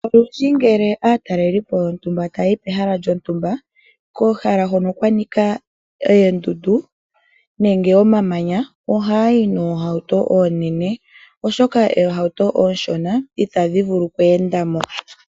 Olundji ngele aatalelipo taa yi komahala hono kwanika oondundu nosho woo omamanya, ohaa yi noohauto oonene oshoka oohauto oonshona itadhi vulu okweenda mo.